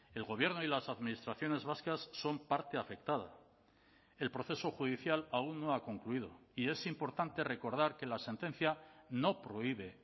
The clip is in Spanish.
el gobierno y las administraciones vascas son parte afectada el proceso judicial aún no ha concluido y es importante recordar que la sentencia no prohíbe